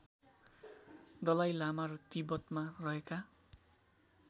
दलाइ लामा र तिब्बतमा रहेका